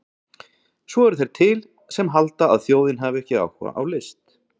Svo eru þeir til sem halda að þjóðin hafi ekki áhuga á list!